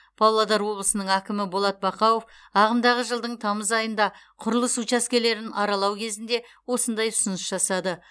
павлодар облысының әкімі болат бақауов ағымдағы жылдың тамыз айында құрылыс учаскелерін аралау кезінде осындай ұсыныс жасады